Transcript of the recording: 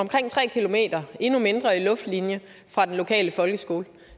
endnu mindre i luftlinje fra den lokale folkeskole